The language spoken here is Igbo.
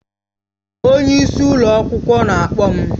Onye isi ụlọ akwụkwọ na-akpọ m